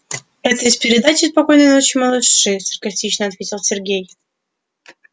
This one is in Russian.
это из передачи спокойной ночи малыши саркастично ответил сергей